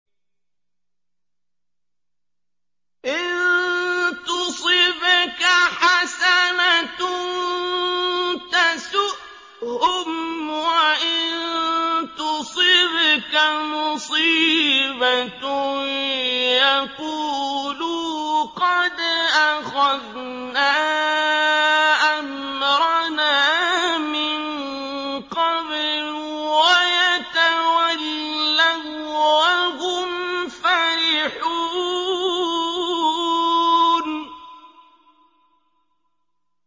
إِن تُصِبْكَ حَسَنَةٌ تَسُؤْهُمْ ۖ وَإِن تُصِبْكَ مُصِيبَةٌ يَقُولُوا قَدْ أَخَذْنَا أَمْرَنَا مِن قَبْلُ وَيَتَوَلَّوا وَّهُمْ فَرِحُونَ